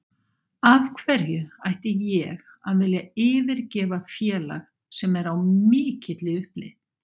Af hverju ætti ég að vilja yfirgefa félag sem er á mikilli uppleið?